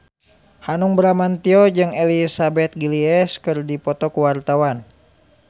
Hanung Bramantyo jeung Elizabeth Gillies keur dipoto ku wartawan